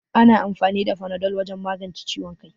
Ana amfani da fanado wajen magance ciwon kai